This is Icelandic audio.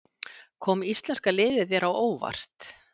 Kom íslenska liðið þér á óvart?